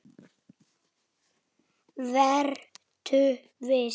Vertu viss.